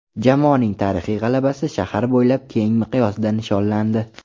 Jamoaning tarixiy g‘alabasi shahar bo‘ylab keng miqyosda nishonlandi.